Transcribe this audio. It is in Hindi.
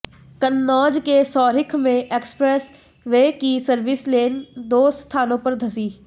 कन्नौज के सौरिख में express way service lane दो स्थानों पर धंसी